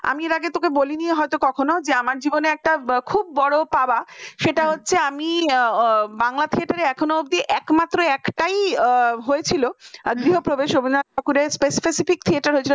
আমি এর আগে তোকে বলনি হয়তো কখনো যে আমার জীবনে একটা খুব বড় পাওয়া সেটা হচ্ছে আমি বাংলা theater এখনো অব্দি একমাত্র একটাই হয়েছিল গৃহপ্রবেশ রবীন্দ্রনাথ ঠাকুরের specific theatre